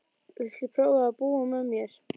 Viltu prófa að búa með mér.